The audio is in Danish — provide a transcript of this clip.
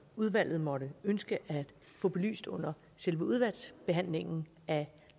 udvalget måtte ønske at få belyst under selve udvalgsbehandlingen af